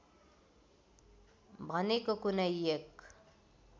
भनेको कुनै एक